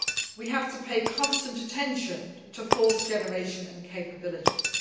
We have to pay constant attention to force generation and capabilities.